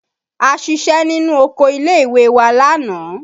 A ṣiṣẹ́ nínú oko ilé ìwé wa lánàá